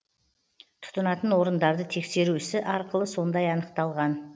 тұтынатын орындарды тексеру ісі арқылы сондай анықталған